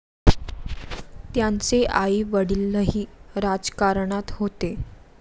त्यांचे आई वडीलही राजकारणात होते.